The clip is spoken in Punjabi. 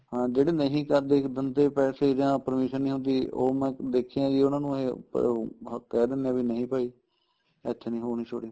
ਹਾਂ ਜਿਹੜੇ ਨਹੀਂ ਕਰਦੇ ਬੰਦੇ ਪੈਸੇ ਜਾਂ permission ਨੀਂ ਹੁੰਦੀ ਉਹ ਮੈਂ ਦੇਖਿਆ ਜੀ ਉਹਨਾ ਨੂੰ ਇਹ ਉਹ ਕਹਿ ਦਿਨੇ ਏ ਬੀ ਨਹੀਂ ਭਾਈ ਇੱਥੇ ਨੀਂ ਹੋਣੀ shooting